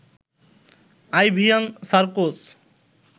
আইভিয়ান Sarkozy